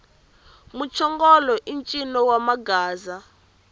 muchongolo i ncino wa magaza